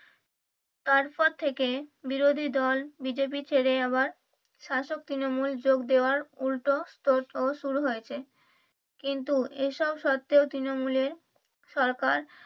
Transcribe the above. তার পর থেকে বিরোধীদল বিজেপি ছেড়ে আবার শাসক তৃণমূল যোগ দেয়ার উল্টো তোড়জোড় শুরু হয়েছে। কিন্তু এইসব শর্তেও তৃণমূলে সরকার